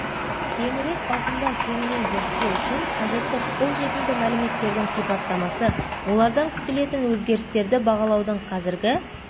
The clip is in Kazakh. кеңірек ауқымда кеңінен зерттеу үшін қажетті қол жетімді мәліметтердің сипаттамасы олардан күтілетін өзгерістерді бағалаудың қазіргі